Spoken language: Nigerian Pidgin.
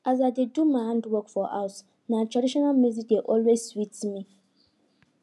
as i dey do my handwork for house na traditional music dey always sweet me